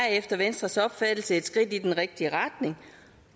er efter venstres opfattelse et skridt i den rigtige retning